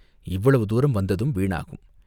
இவ்வளவு தூரம் வந்ததும் வீணாகும்.